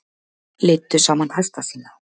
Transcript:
Leiddu saman hesta sína